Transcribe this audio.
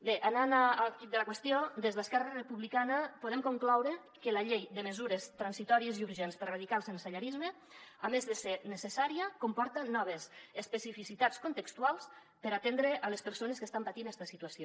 bé anant al quid de la qüestió des d’esquerra republicana podem concloure que la llei de mesures transitòries i urgents per erradicar el sensellarisme a més de ser necessària comporta noves especificitats contextuals per atendre les persones que estan patint esta situació